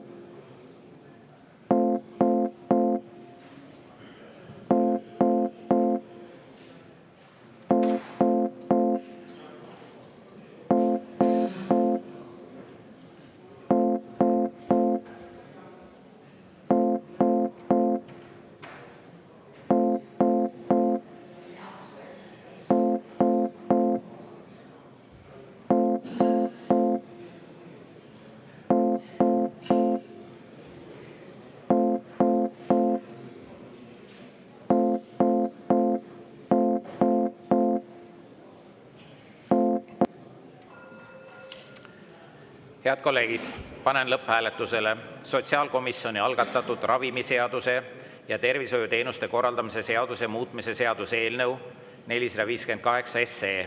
Head kolleegid, panen lõpphääletusele sotsiaalkomisjoni algatatud ravimiseaduse ja tervishoiuteenuste korraldamise seaduse muutmise seaduse eelnõu 458.